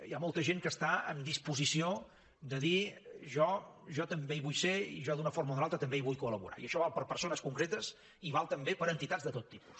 hi ha molta gent que està en disposició de dir jo també hi vull ser i jo d’una forma o d’una altra també hi vull col·per a persones concretes i val també per a entitats de tot tipus